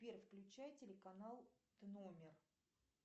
сбер включай телеканал номер